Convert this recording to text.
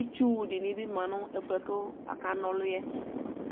itsu dɩnɩ bɩ ma nʋ ɛfu yɛ bʋa k'akana ɔlʋ yɛ